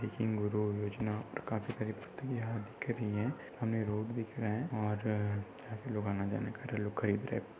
यहा रखी हुई है हमे रोड दिख रहा है और लोग आनाजाना कर रहे है लोग खरीद रहे है।